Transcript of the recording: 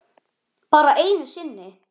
Bara einu sinni.